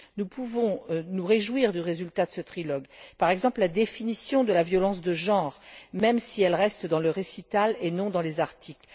Nous pouvons nous réjouir du résultat de ce trilogue, par exemple la définition de la violence de genre, même si elle reste dans le considérant, au lieu de figurer dans les articles.